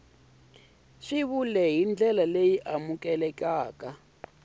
swivulwa hi ndlela leyi amukelekaka